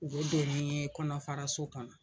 U bɛ don ni ye kɔnɔ faraso kɔnɔ,